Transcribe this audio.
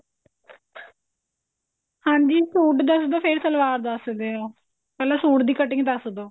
ਹਾਂਜੀ ਸੂਟ ਦੱਸ ਦਿਓ ਫ਼ੇਰ ਸਲਵਾਰ ਦੱਸ ਦਿਓ ਪਹਿਲਾਂ ਸੂਟ ਦੀ cutting ਦੱਸ ਦਿਓ